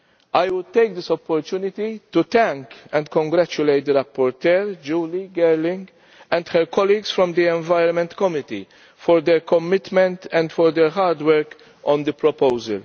I will take this opportunity to thank and congratulate the rapporteur, Julie Girling, and her colleagues from the Environment Committee for their commitment and for their hard work on the proposal.